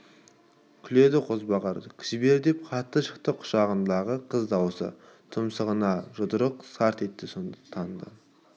күледі қозбағар жібер деп қатты шықты құшағындағы қыз дауысы тұмсығына жұдырық сарт етті сонда таныды